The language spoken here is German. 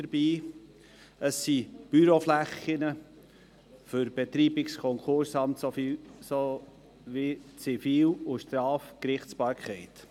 Es handelt sich um Büroflächen für das Betreibungs- und Konkursamt sowie für die Zivil- und Strafgerichtsbarkeit.